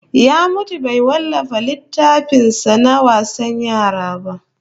Ya mutu bai wallafa littafin sa na wasan yara ba